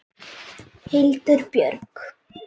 Hildur Björg.